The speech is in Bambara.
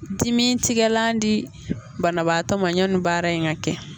Dimi tigɛlan di banabaatɔ ma yɔnni baara in ka kɛ.